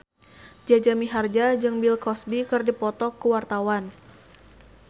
Jaja Mihardja jeung Bill Cosby keur dipoto ku wartawan